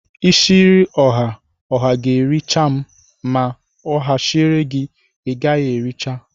Ishiri oha, oha ga-ēri cha ma oha shiri gi igaghi ericha.